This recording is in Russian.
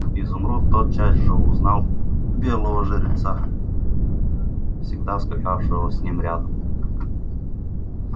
изумруд тотчас же узнал белого жеребца всегда скакавшего с ним рядом